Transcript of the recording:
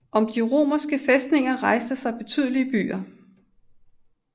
Om de romeske fæstninger rejste sig betydelige byer